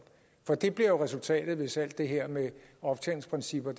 for det bliver resultatet hvis alt det her med optjeningsprincipper